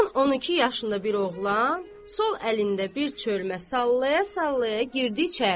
On-on iki yaşında bir oğlan sol əlində bir çölmə sallaya-sallaya girdi içəri.